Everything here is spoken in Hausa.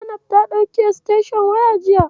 Zainab ta ɗauki estenshon wayar jiya.